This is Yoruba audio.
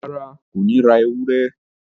Rárá, Kò ní ra ewúrẹ́